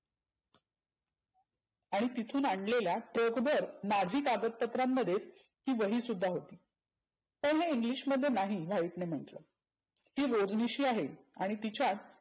आणि तिथून आनलेल्या टोपभर माझी कागद पत्रांमध्ये ही वही सुद्धा होती. पण हे English मध्ये नाही व्हाईटने म्हटलं. ही रोजनिशी आहे आणि तिच्यात